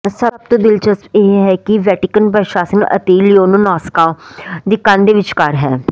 ਸਭ ਤੋਂ ਦਿਲਚਸਪ ਇਹ ਹੈ ਕਿ ਵੈਟੀਕਨ ਪ੍ਰਸ਼ਾਸਨ ਅਤੇ ਲਿਓਨਨੋਨਾਸਕਾ ਦੀ ਕੰਧ ਦੇ ਵਿਚਕਾਰ ਹੈ